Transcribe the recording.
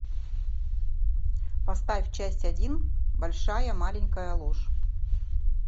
поставь часть один большая маленькая ложь